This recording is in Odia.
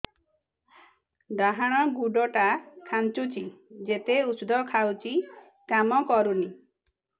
ଡାହାଣ ଗୁଡ଼ ଟା ଖାନ୍ଚୁଚି ଯେତେ ଉଷ୍ଧ ଖାଉଛି କାମ କରୁନି